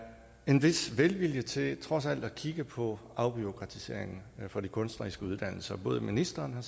en vis velvilje til trods alt at kigge på afbureaukratiseringen for de kunstneriske uddannelser for både ministeren